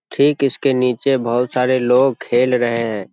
ठीक इसके नीचे बहुत सारे लोग खेल रहें हैं।